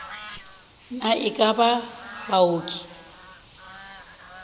na e ka ba baoki